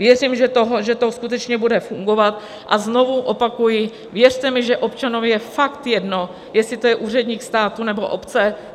Věřím, že to skutečně bude fungovat, a znovu opakuji: věřte mi, že občanovi je fakt jedno, jestli je to úředník státu, nebo obce.